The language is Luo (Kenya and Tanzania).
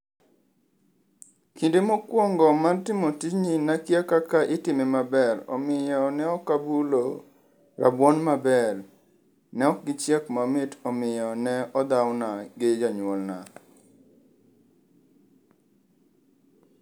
Kinde mokwongo mar timo tijni nakia kaka itime maber, omiyo ne ok abulo rabuon maber. Ne ok gichiek mamit omiyo ne odhawna gi jonyuolna.